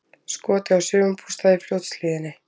Skotið á sumarbústað í Fljótshlíðinni